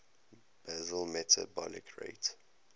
basal metabolic rate